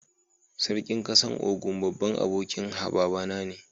Sarkin kasan Ogun, babban abokin baba na ne.